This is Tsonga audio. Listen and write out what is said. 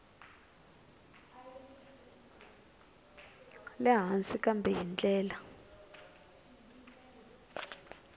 le hansi kambe hi ndlela